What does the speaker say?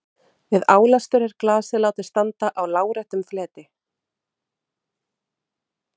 Við álestur er glasið látið standa á láréttum fleti.